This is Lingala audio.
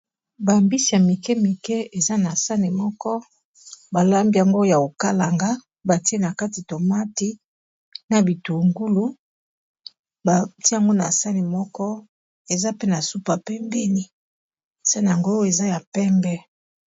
Bambisi ya mike mike eza na sani moko balambi yango ya kokalanga batie na kati tomati na bitungulu batiango na sani moko eza pe na super pembeni sani yango oyo eza ya pembe.